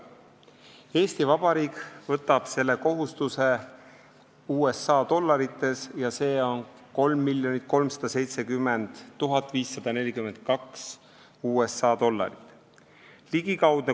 Eesti Vabariik võtab selle kohustuse USA dollarites ja see on 3 370 542 USA dollarit.